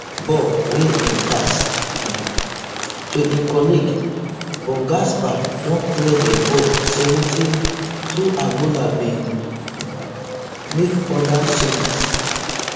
ball wia im pass um to im colleague but gaspar don clear di ball seventy-twoangola bin um make oda changes